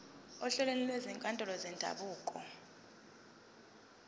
ohlelweni lwezinkantolo zendabuko